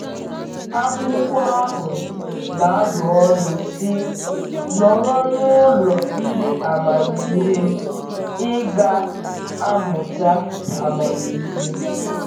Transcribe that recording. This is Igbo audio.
Akwụkwọ ahụ na-adụ ọdụ sị: “Nọrọ n’ụlọ ndị amamihe, ị ga-amụta amamihe.”